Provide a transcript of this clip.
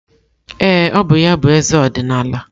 Ee, ọ bụ ya bụ eze ọdịnala.